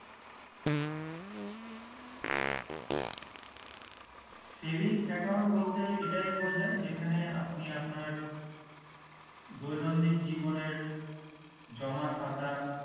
saving account বলতে এটাই বোঝায় যেখানে আপনি আপনার দৈনন্দিন জীবনে জমা খাতা